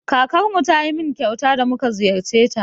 Kakarmu ta yi min kyauta da mu ka ziyarce ta.